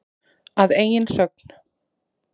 Að eigin sögn.